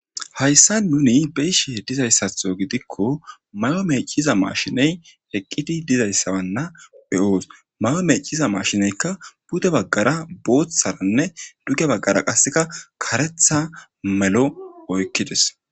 Hayssa nuni be'ishe dizayssatho gidikko mayo mecciza maashiney eqqidi dizayssawanna be7oos. Mayo meecciza mashineykka pude baggara booththaranne duge baggara qasseka karetha melo oykkides.